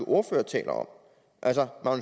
ordfører taler om altså